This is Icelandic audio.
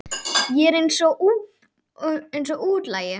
Ég er eins og útlagi.